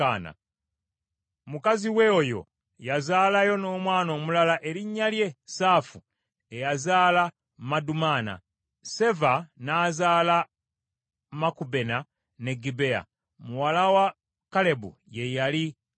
Mukazi we oyo yazaalayo n’omwana omulala erinnya lye Saafu, eyazaala Madumanna. Seva n’azaala Makubena ne Gibea. Muwala wa Kalebu ye yali Akusa.